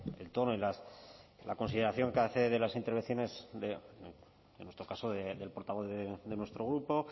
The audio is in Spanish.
el tono y la consideración que hace de las intervenciones de en nuestro caso del portavoz de nuestro grupo